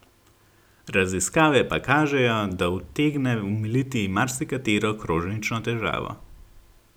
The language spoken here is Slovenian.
Raziskave pa kažejo, da utegne omiliti marsikatero kronično težavo.